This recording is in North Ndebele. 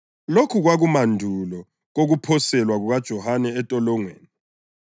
(Lokhu kwakumandulo kokuphoselwa kukaJohane entolongweni.)